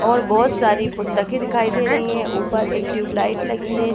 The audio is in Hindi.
और बहुत सारी पुस्तके दिखाई दे रही है ऊपर एक ट्यूब लाइट लगी दिखाई दे रही है।